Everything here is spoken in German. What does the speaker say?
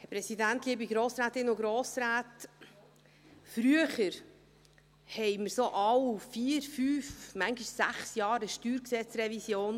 Früher hatten wir alle vier, fünf, manchmal sechs Jahre eine StGRevision.